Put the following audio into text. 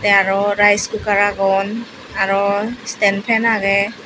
te aro rice cooker agon aro stand fan agey.